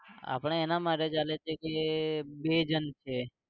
આપણે એના માટે ચાલે છે કે બે જણ છે